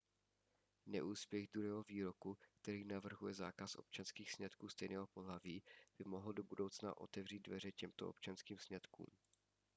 neúspěch druhého výroku který navrhuje zákaz občanských sňatků stejného pohlaví by mohl do budoucna otevřít dveře těmto občanským sňatkům